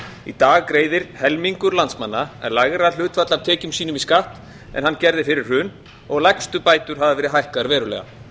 í dag greiðir helmingur landsmanna lægra hlutfall af tekjum sínum í skatt en hann gerði fyrir hrun og lægstu bætur hafa verið hækkaðar verulega